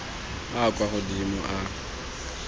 a a kwa godimo a